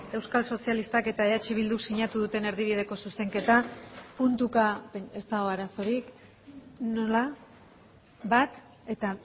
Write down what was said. euskal sozialistak eta eh bilduk sinatu duten erdibideko zuzenketa puntuka ez dago arazorik nola bat eta